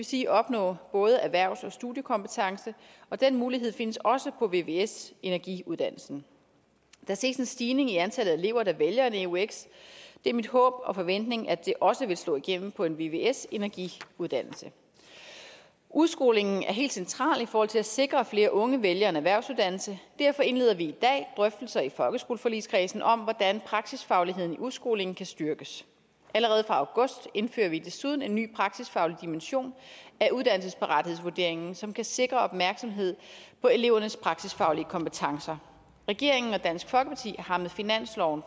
sige at opnå både erhvervs og studiekompetence og den mulighed findes også på vvs energiuddannelsen der ses en stigning i antallet af elever der vælger en eux det er mit håb og min forventning at det også vil slå igennem på en vvs energiuddannelse udskolingen er helt central i forhold til at sikre at flere unge vælger en erhvervsuddannelse og derfor indleder vi i dag drøftelser i folkeskoleforligskredsen om hvordan praksisfagligheden i udskolingen kan styrkes allerede fra august indfører vi desuden en ny praksisfaglig dimension af uddannelsesparathedsvurderingen som kan sikre opmærksomhed på elevernes praksisfaglige kompetencer regeringen og dansk folkeparti har med finansloven